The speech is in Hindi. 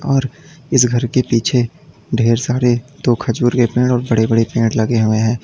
और इस घर के पीछे ढेर सारे दो खजूर के पेड़ और बड़े बड़े पेड़ लगे हुए हैं।